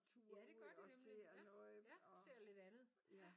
Ja det gør det nemlig. Ja ja ser lidt andet ja